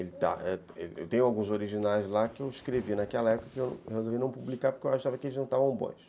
Eu tenho alguns originais lá que eu escrevi naquela época que eu resolvi não publicar porque eu achava que eles não estavam bons.